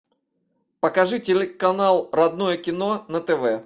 покажи телеканал родное кино на тв